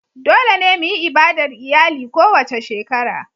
Dole ne mu yi ibadar iyali kowace shekara.